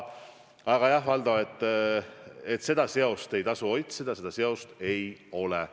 Aga jah, Valdo, seda seost ei tasu otsida, seda seost ei ole.